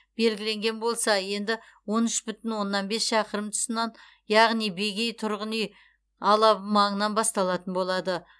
белгіленген болса енді он үш бүтін оннан бес шақырым тұсынан яғни бегей тұрғын үй алабы маңынан басталатын болады